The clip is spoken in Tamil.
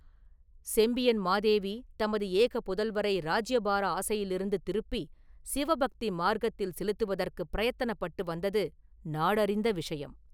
“செம்பியன் மாதேவி தமது ஏக புதல்வரை இராஜ்யபார ஆசையிலிருந்து திருப்பிச் சிவபக்தி மார்க்கத்தில் செலுத்துவதற்குப் பிரயத்தனப்பட்டு வந்தது நாடு அறிந்த விஷயம்.